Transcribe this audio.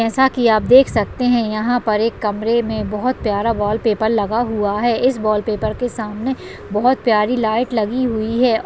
जैसा कि आप देख सकते हैं यहां पर एक कमरे में बहोत प्यारा वॉलपेपर लगा हुआ हैं इस वॉलपेपर के सामने बहोत प्यारी लाइट लगीं हुई है।